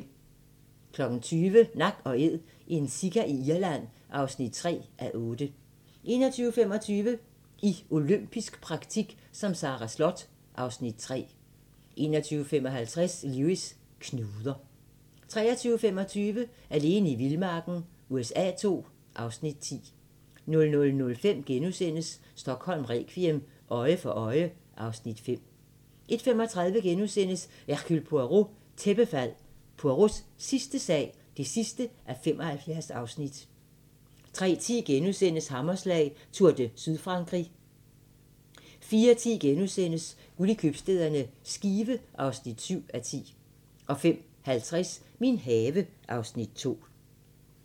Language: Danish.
20:00: Nak & Æd - en sika i Irland (3:8) 21:25: I olympisk praktik som Sara Slott (Afs. 3) 21:55: Lewis: Knuder 23:25: Alene i vildmarken USA II (Afs. 10) 00:05: Stockholm requiem: Øje for øje (Afs. 5)* 01:35: Hercule Poirot: Tæppefald – Poirots sidste sag (75:75)* 03:10: Hammerslag: Tour de Sydfrankrig * 04:10: Guld i købstæderne – Skive (7:10)* 05:50: Min have (Afs. 2)